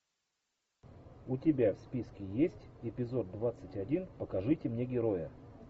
у тебя в списке есть эпизод двадцать один покажите мне героя